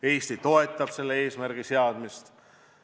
Eesti toetab selle eesmärgi seadmist.